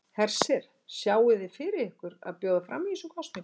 Hersir: Sjáið þið fyrir ykkur að bjóða fram í þessum kosningum?